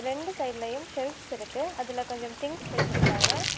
ரெண்டு சைட்லயும் செஃல்ப் இருக்கு அதுல கொஞ்சம் திங்க்ஸ் வெச்சுருக்காங்க.